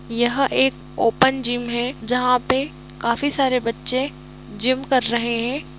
यह एक open gym है जहा पे काफी सारे बच्चे जिम कर रहे है